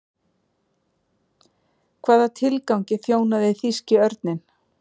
Hvaða tilgangi þjónaði þýski örninn?